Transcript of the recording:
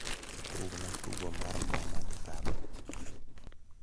tugna tugo mar mama gi baba